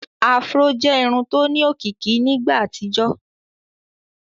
afro jẹ Irun tó ní òkìkí nígbà àtijọ